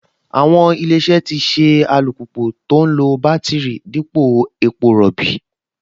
Àwọn Ilé-iṣẹ́ tì ṣe alùpùpù tó ń lo bátíìrì dípò epo rọ̀bì